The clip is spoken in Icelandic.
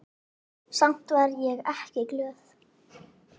Samt var ég ekki glöð.